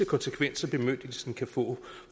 konsekvenser bemyndigelsen efterfølgende kan få